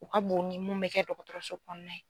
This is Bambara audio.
U ka bon ni mun mɛ kɛ dɔgɔtɔrɔso kɔnɔna ye.